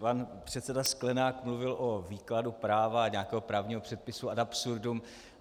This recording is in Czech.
Pan předseda Sklenák mluvil o výkladu práva a nějakého právního předpisu ad absurdum.